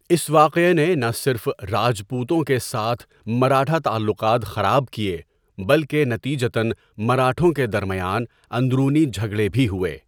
اس واقعہ نے نہ صرف راجپوتوں کے ساتھ مراٹھا تعلقات خراب کیے بلکہ نتیجتاََ مراٹھوں کے درمیان اندرونی جھگڑے بھی ہوئے۔